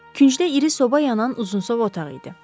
Küçdə iri soba yanan uzunsov otaq idi.